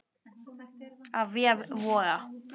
Af vef Voga